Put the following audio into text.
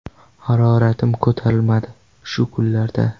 Haroratim ko‘tarilmadi shu kunlarda.